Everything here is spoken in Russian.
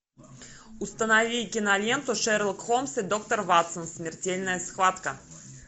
установи киноленту шерлок холмс и доктор ватсон смертельная схватка